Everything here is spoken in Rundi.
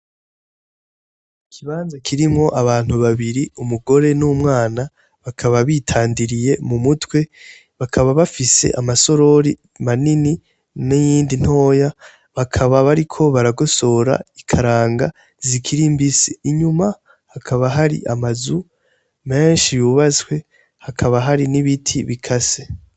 Ikibanza kirimwo abantu babiri umugore n'umwana bakaba bitandiriye mu mutwe bakaba bafise amasorori manini n'iyindi ntoya bakaba bariko baragosora ikaranga zikirimbise inyuma hakaba hari amazu menshi bba baswe hakaba hari n'ibiti bika se.